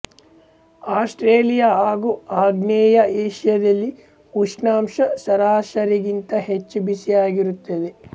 Australia ಹಾಗೂ ಆಗ್ನೇಯ ಏಷ್ಯಾದಲ್ಲಿ ಉಷ್ಣಾಂಶ ಸರಾಸರಿಗಿಂತ ಹೆಚ್ಚು ಬಿಸಿಯಾಗಿರುತ್ತದೆ